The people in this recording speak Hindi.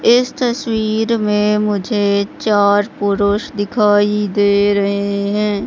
इस तस्वीर में मुझे चार पुरुष दिखाई दे रहे है।